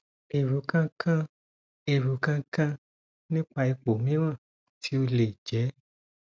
ero kan kan ero kan kan nipa ipo miran ti o le je